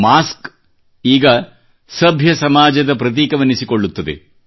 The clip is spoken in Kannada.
ಮಾಸ್ಕ್ ಈಗ ಸಭ್ಯ ಸಮಾಜದ ಪ್ರತೀಕವೆನಿಸಿಕೊಳ್ಳುತ್ತದೆ